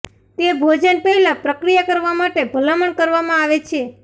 તે ભોજન પહેલાં પ્રક્રિયા કરવા માટે ભલામણ કરવામાં આવે છે